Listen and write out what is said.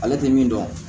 Ale tɛ min dɔn